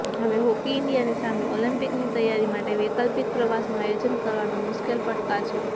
હવે હોકી ઈન્ડિયાની સામે ઓલિમ્પિકની તૈયારી માટે વૈકલ્પિક પ્રવાસનું આયોજન કરવાનો મુશ્કેલ પડકાર છે